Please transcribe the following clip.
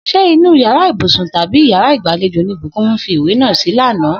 S̩e inú yàrá ìbùsùn tàbí yàrá ìgbàlejò ni Búkùnmí fi ìwé náà sí lánàá?